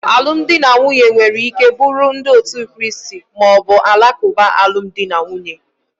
Alụmdi na nwunye nwere ike buru ndi otu Kraist ma ọ bụ Alakuba alụmdi na nwunye.